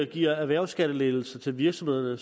giver erhvervsskattelettelser til virksomhederne